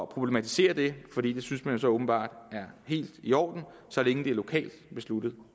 problematiserer det for det synes man jo så åbenbart er helt i orden så længe det er lokalt besluttet